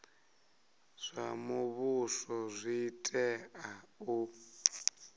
zwa muvhuso zwi tea u